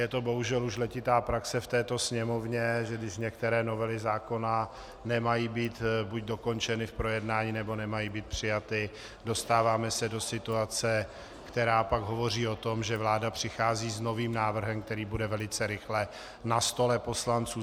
Je to bohužel už letitá praxe v této Sněmovně, že když některé novely zákona nemají být buď dokončeny v projednání, nebo nemají být přijaty, dostáváme se do situace, která pak hovoří o tom, že vláda přichází s novým návrhem, který bude velice rychle na stole poslanců.